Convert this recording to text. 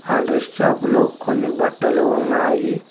అ dress shop లో కొన్ని బట్టలు ఉన్నాయి.